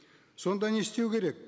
сонда не істеу керек